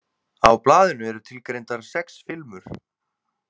Á blaðinu eru tilgreindar sex filmur.